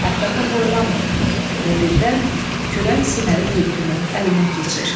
Ətrafa boylanmır və birdən kürən sinəli tülkünün əlinə keçir.